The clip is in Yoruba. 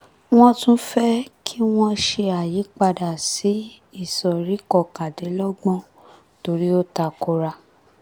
wọ́n tún fẹ́ kí wọ́n ṣe àyípadà sí ìsọ̀rí kọkàndínlọ́gbọ̀n torí ó takora